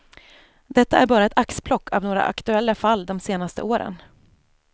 Detta är bara ett axplock av några aktuella fall de senaste åren.